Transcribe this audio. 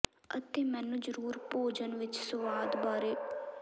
ਅਤੇ ਮੈਨੂੰ ਜ਼ਰੂਰ ਭੋਜਨ ਵਿਚ ਸੁਆਦ ਬਾਰੇ ਬਹਿਸ ਨਾ ਕਰ ਸਕਦਾ ਹੈ